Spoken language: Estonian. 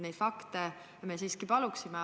Neid fakte me siiski palume.